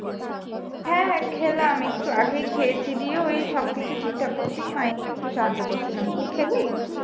হ্যাঁ হ্যাঁ খেলাম একটু আগেই খেয়েছি দিয়ে ওই সবকিছু ঠিকঠাক করতেই মায়ের একটু সাহায্য করছিলাম তুই খেলি